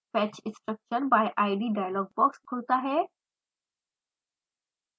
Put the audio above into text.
fetch structure by id dialog box खुलता है